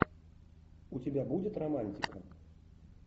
у тебя будет романтика